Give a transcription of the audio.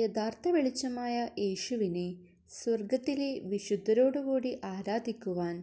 യഥാർത്ഥ വെളിച്ചമായ യേശുവിനെ സ്വർഗത്തിലെ വിശുദ്ധരോടുകൂടി ആരാധിക്കുവാൻ